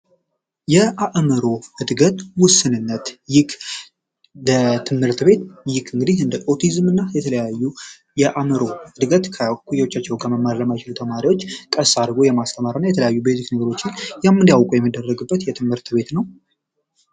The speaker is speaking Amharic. የአዕምሮ ዕድገት ውስንነት ይህ እንደ ትምህርት ቤት ግን ደግሞ ቱሪዝም እና የተለያዩ የአዕምሮ ዕድገት ከእኩዮቻቸው ከመማሪያ ተማሪዎች ከራስ አልፎ የማስተማርና የተለያዩ ቤዚክ ነገሮችን የምናውቀው የሚደረግበት የትምህርት ቤት ነው።